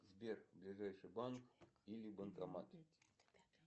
сбер ближайший банк или банкомат